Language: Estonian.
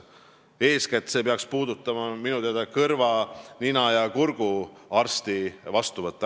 Eeskätt peaks see minu teada puudutama kõrva-, nina- ja kurguarsti vastuvõttu.